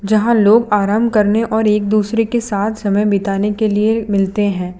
यहां लोग आराम करने और एक दूसरे के साथ समय बिताने के लिए मिलते हैं।